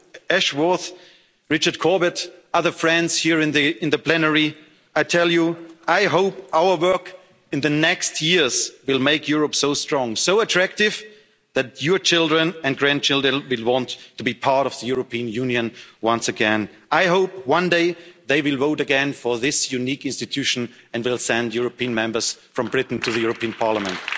Richard Ashworth, Richard Corbett, other friends here in the plenary I tell you, I hope our work in the next years will make Europe so strong, so attractive, that your children and grandchildren will want to be part of the European Union once again. I hope one day they will vote again for this unique institution and will send European members from Britain to the European Parliament.